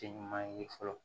Te ɲuman ye fɔlɔ